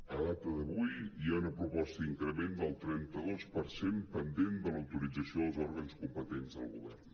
a data d’avui hi ha una proposta d’increment del trenta dos per cent pendent de l’autorització dels òrgans competents del govern